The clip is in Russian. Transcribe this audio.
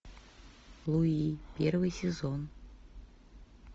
луи первый сезон